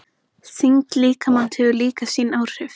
Þyngd líkamans hefur líka sín áhrif.